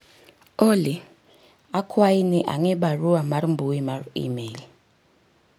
Olly akwayi ni ang'i barua mar mbui mar email